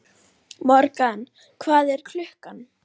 Morgan, hvað er klukkan?